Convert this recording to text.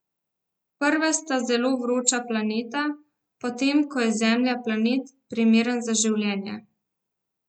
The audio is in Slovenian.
Prva sta zelo vroča planeta, medtem ko je Zemlja planet, primeren za življenje.